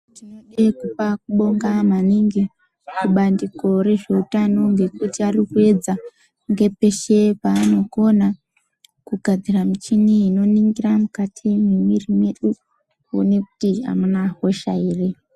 Tode kupa kubonga maningi kubandiko rezveutano ngekuti ari kuuedza ngepeshe paanokona kugadzira michini inoningira mukati mwemwiri yedu kuone kuti amuna hosha ere.